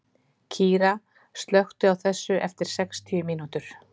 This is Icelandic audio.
Kíra, slökktu á þessu eftir sextíu mínútur.